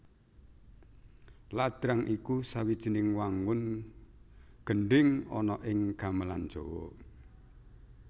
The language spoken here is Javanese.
Ladrang iku sawijining wangun gendhing ana ing gamelan Jawa